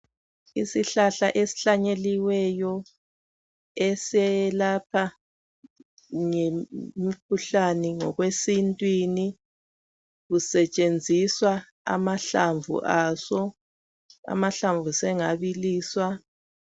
Isihlahla esihlanyeliweyo eselapha umkhuhlane ngokwesintwini kusetshenziswa amahlamvu aso. Amahlamvu sengabiliswa